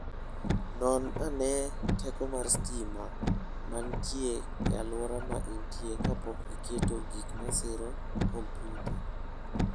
Non ane teko mar stima ma nitie e alwora ma intie kapok iketo gik masiro kompyuta.